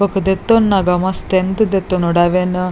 ಬೊಕ ದೆತ್ತೊನ್ನಗ ಮಸ್ತ್ ದೆತೊನೊಡು ಅವೆನ್--